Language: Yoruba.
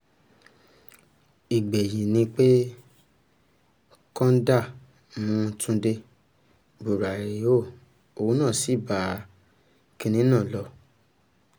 ìgbẹ̀yìn ni pé kọ́ńdà mú túnde buraiho òun náà sí bá kinní náà lọ